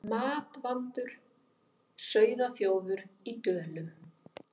Matvandur sauðaþjófur í Dölum